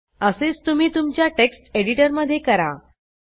असेच तुम्ही तुमच्या टेक्स्ट एडिटरमधे करा